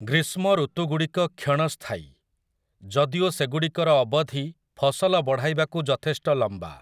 ଗ୍ରୀଷ୍ମ ଋତୁଗୁଡ଼ିକ କ୍ଷଣସ୍ଥାୟୀ, ଯଦିଓ ସେଗୁଡ଼ିକର ଅବଧି ଫସଲ ବଢ଼ାଇବାକୁ ଯଥେଷ୍ଟ ଲମ୍ବା ।